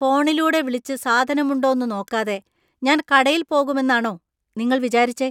ഫോണിലൂടെ വിളിച്ച് സാധനമുണ്ടോന്നുനോക്കാതെ ഞാൻ കടയിൽ പോകുമെന്നാണോ നിങ്ങൾ വിചാരിച്ചേ?